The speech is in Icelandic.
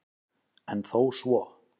En þó svo